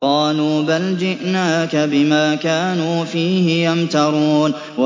قَالُوا بَلْ جِئْنَاكَ بِمَا كَانُوا فِيهِ يَمْتَرُونَ